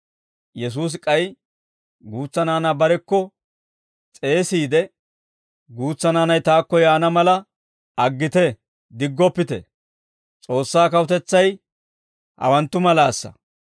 Yesuusi k'ay guutsa naanaa barekko s'eesiide, «Guutsa naanay taakko yaana mala aggite, diggoppite; S'oossaa kawutetsay hawanttu malaasa.